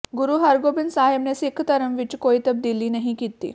ਗੁਰੂ ਹਰਗੋਬਿੰਦ ਸਾਹਿਬ ਨੇ ਸਿੱਖ ਧਰਮ ਵਿਚ ਕੋਈ ਤਬਦੀਲੀ ਨਹੀਂ ਕੀਤੀ